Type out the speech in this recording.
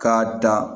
K'a da